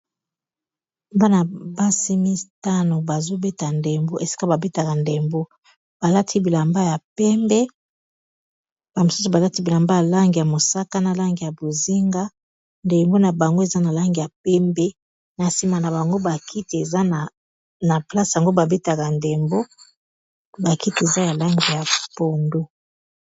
Bana basi mitano bazobeta ndembo esika babetaka ndembo balati bilamba ya pembe ba misusu balati bilamba ya langi ya mosaka na langi ya bozinga ndembo na bango eza na langi ya pembe na nsima na bango ba kiti eza na place yango babetaka ndembo ba kiti eza ya langi ya pondu.